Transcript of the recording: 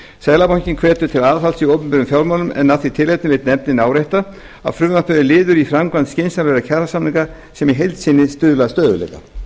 seðlabankinn hvetur til aðhalds í opinberum fjármálum en af því tilefni vill nefndin árétta að frumvarpið er liður í framkvæmd skynsamlegra kjarasamninga sem í heild sinni stuðla að stöðugleika